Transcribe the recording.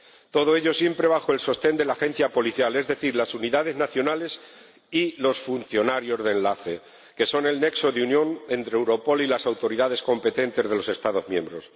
todo ello siempre bajo el sostén de la Agencia policial, es decir, las unidades nacionales y los funcionarios de enlace, que son el nexo de unión entre Europol y las autoridades competentes de los Estados miembros.